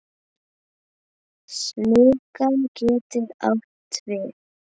Smugan getur átt við